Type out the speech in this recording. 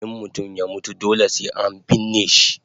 In mutum ya mutu dole sai an binne shi